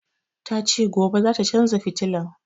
Ta ce gobe zata canza fitilan